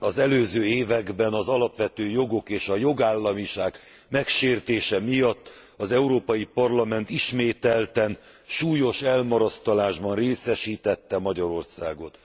Az előző években az alapvető jogok és a jogállamiság megsértése miatt az Európai Parlament ismételten súlyos elmarasztalásban részesítette Magyarországot.